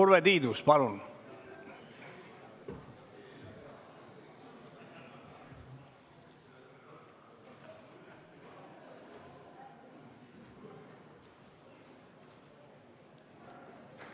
Urve Tiidus, palun!